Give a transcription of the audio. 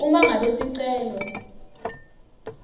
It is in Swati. uma ngabe sicelo